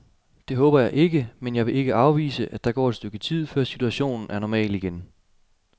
Det håber jeg ikke, men jeg vil ikke afvise, at der går et stykke tid, før situationen er normal igen.